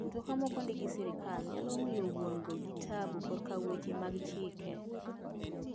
Mtoka ma ok ondik gi sirkal nyalo miyo wuon go gi tabu kor kaweche mag chike.